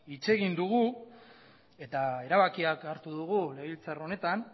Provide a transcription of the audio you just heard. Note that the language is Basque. hitz egin dugu eta erabakiak hartu dugu legebiltzar honetan